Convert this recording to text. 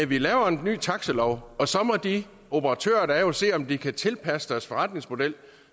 vi laver en ny taxalov og så må de operatører der er jo se om de kan tilpasse deres forretningsmodel